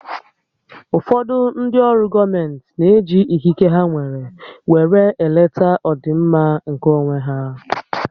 Ụfọdụ ndị ọrụ gọọmenti n'eji ikike ha nwèrè wéré eleta ọdịmma nkè onwé há